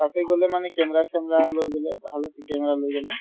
তাতে গ'লে মানে camera চেমৰা লৈ গ'লে ভাল আছে camera লৈ গ'লে